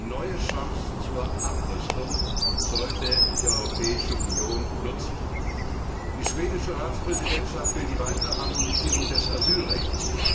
Diese neue Chance zur Abrüstung sollte die Europäische Union nutzen. Die schwedische Ratspräsidentschaft will die weitere Harmonisierung des Asylrechts.